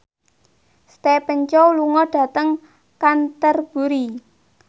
Stephen Chow lunga dhateng Canterbury